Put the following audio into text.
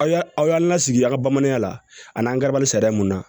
Aw aw y'an lasigi aw ka bamananya la an n'an kɛra bali sariya mun na